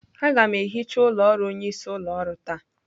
Aga m ehicha ụlọ ọrụ onyeisi ụlọ ọrụ taa.